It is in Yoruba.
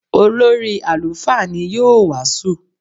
Olórí àlùfáà ni yóò wàásù.